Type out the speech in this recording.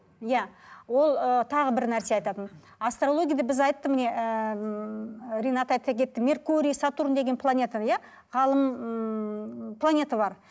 иә ол ы тағы бір нәрсе айтатын астрологияда біз айтты міне ыыы ринат айта кетті меркурий сатурн деген планета иә ғалым ммм планета бар